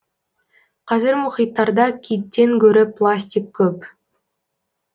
қазір мұхиттарда киттен гөрі пластик көп